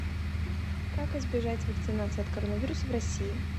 как избежать вакцинации от коронавируса в россии